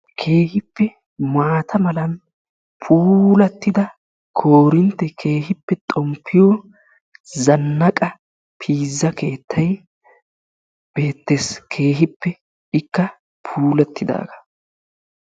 Keehippe maata malan puulatida koorintte keehippe xomppiyo zannaqqa piiza keettay beettees. Keehippe ikka puulatidaagaa.